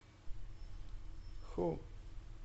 ху